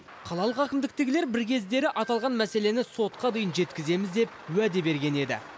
қалалық әкімдіктегілер бір кездері аталған мәселені сотқа дейін жеткіземіз деп уәде берген еді